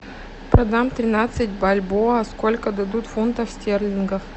продам тринадцать бальбоа сколько дадут фунтов стерлингов